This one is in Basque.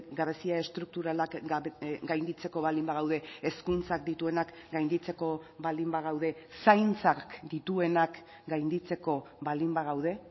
gabezia estrukturalak gainditzeko baldin bagaude hezkuntzak dituenak gainditzeko baldin bagaude zaintzak dituenak gainditzeko baldin bagaude